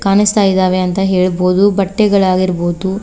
ಕಾಣಸ್ತಾ ಇದಾವೆ ಅಂತ ಹೇಳ್ಬೋದು ಬಟ್ಟೆಗಳಾಗಿರಬಹುದು.